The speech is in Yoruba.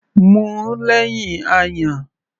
Mu ú lẹ́hìn ayan.